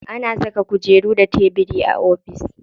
Ana saka kujeru da tebiri a ofis.